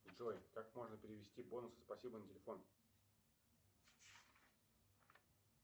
джой как можно перевести бонусы спасибо на телефон